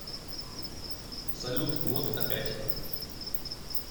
салют вот опять